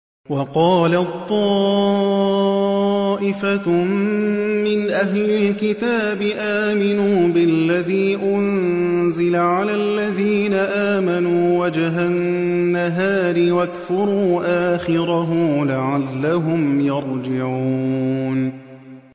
وَقَالَت طَّائِفَةٌ مِّنْ أَهْلِ الْكِتَابِ آمِنُوا بِالَّذِي أُنزِلَ عَلَى الَّذِينَ آمَنُوا وَجْهَ النَّهَارِ وَاكْفُرُوا آخِرَهُ لَعَلَّهُمْ يَرْجِعُونَ